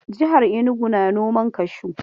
Jihar Inugu na noman kashu.